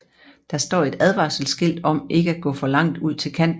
Der står et advarselsskilt om ikke at gå for langt ud til kanten